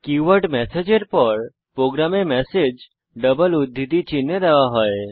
keyword message এর পর প্রোগ্রামে ম্যাসেজ ডাবল উদ্ধৃতি চিনহে দেওয়া হয়